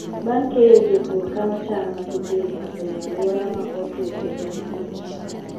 Bang' keyo, jopur kano cham ma gipidho e alwora ma otwo kendo ma ng'ich.